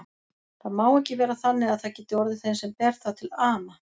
Það má ekki vera þannig að það geti orðið þeim sem ber það til ama.